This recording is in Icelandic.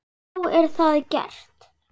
Þá er það gert.